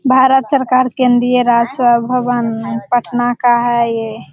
भारत सरकार केंद्रीय राज्य स्वभवन पटना का है ये।